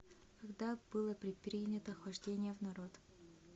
когда было предпринято хождение в народ